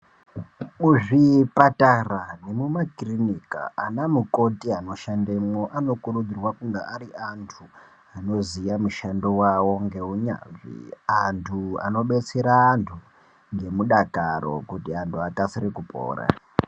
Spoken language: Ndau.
Muzvipatara nemumakirinika, anamukoti anoshandemwo anokurudzirwa kunga ari antu anoziya mushando wavo, ngeunyanzvi. Antu anobetsera antu, ngemudakaro, kuti antu akasire kupora .